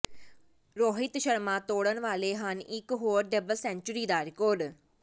ਰੋਹਿਤ ਸ਼ਰਮਾ ਤੋੜਨ ਵਾਲੇ ਹਨ ਇਕ ਹੋਰ ਡਬਲ ਸੇਂਚੁਰੀ ਦਾ ਰਿਕਾਰਡ